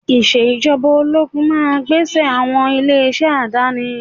Ìṣèjọba ológun máa gbé ẹsẹ̀ àwọn ilé-iṣẹ́ àdáni